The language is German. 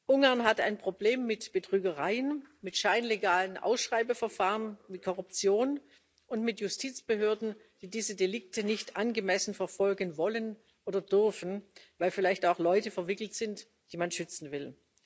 Ungarn hat ein Problem mit Betrügereien, mit scheinlegalen Ausschreibungsverfahren, mit Korruption und mit Justizbehörden, die diese Delikte nicht angemessen verfolgen wollen oder dürfen, weil vielleicht auch Leute verwickelt sind, die man schützen will.